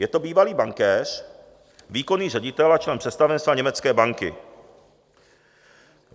Je to bývalý bankéř, výkonný ředitel a člen představenstva německé banky.